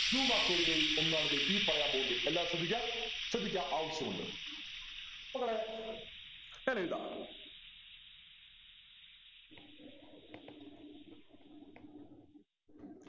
two mark ചോദ്യങ്ങളിൽ ഒന്നാണ് ദേ ഈ പറയാൻ പോകുന്നത് എല്ലാവരും ശ്രദ്ധിക്കാ ശ്രദ്ധിക്കാ ആവശ്യമുണ്ട് മക്കളെ ഞാൻ എഴുതാ